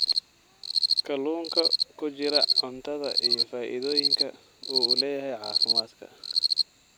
kalluunka ku jira cuntada iyo faa'iidooyinka uu u leeyahay caafimaadka.